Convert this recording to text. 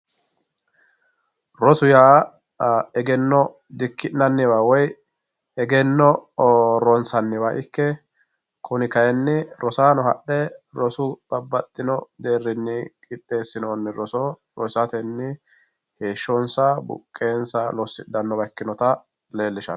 Roso yaa egeno dikinaniwa woyi egeno ronsaniwa ikke kuni kayini rosaano babaxino roso deerini qixeesinooni roso rosateni buqensa losidhanowa ikinota leelishano.